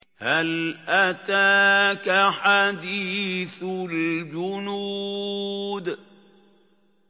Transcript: هَلْ أَتَاكَ حَدِيثُ الْجُنُودِ